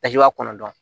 i b'a kɔnɔ dɔn